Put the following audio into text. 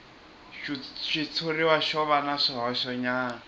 xitshuriwa xo va na swihoxonyana